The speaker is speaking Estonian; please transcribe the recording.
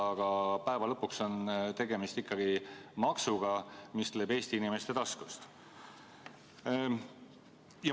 Lõppude lõpuks on ju tegemist ikkagi maksuga, mis tuleb Eesti inimeste taskust.